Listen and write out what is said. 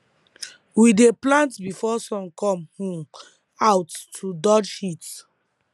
we dey plant before sun come um out to dodge heat